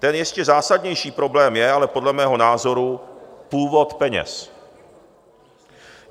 Ten ještě zásadnější problém je ale podle mého názoru původ peněz.